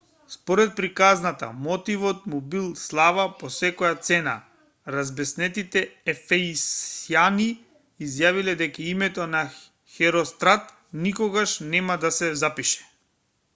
според приказната мотивот му бил слава по секоја цена разбеснетите ефесјани изјавиле дека името на херострат никогаш нема да се запише